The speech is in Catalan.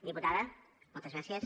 diputada moltes gràcies